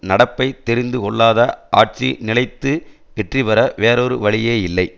நடப்பை தெரிந்து கொள்ளாத ஆட்சி நிலைத்து வெற்றி பெற வேறொரு வழியே இல்லை